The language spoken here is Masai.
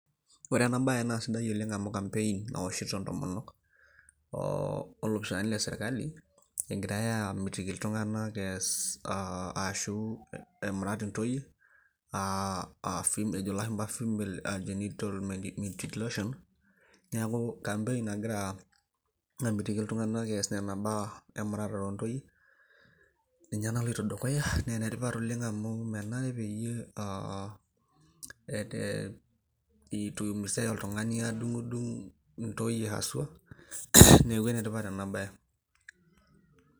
Ore ena baye naa sidai oleng amu campaign eoshito intomonok oo olopisaani lesirkali egiray aamitiki iltung'anak ees aashu emurat intoyie aa ejo ilashumba female genital mutilation neeku campaign nagira amitiki iltung'anak ees nena baa emuratare oontoyie ninye naloito dukuya naa enetipat oleng amu menare peyie aa eete iumisay oltung'ani aadung'udung intoyie haswa neeku enetipat ena baye.